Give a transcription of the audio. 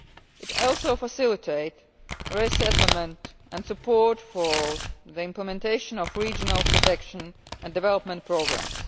It also facilitates resettlement and support for the implementation of regional protection and development programmes.